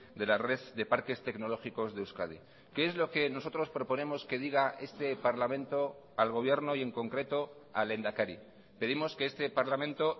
de la red de parques tecnológicos de euskadi qué es lo que nosotros proponemos que diga este parlamento al gobierno y en concreto al lehendakari pedimos que este parlamento